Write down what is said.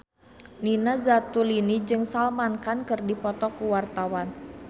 Nina Zatulini jeung Salman Khan keur dipoto ku wartawan